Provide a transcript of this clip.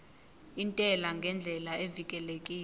intela ngendlela evikelekile